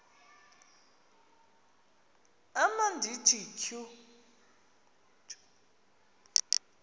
am ndithi tjhu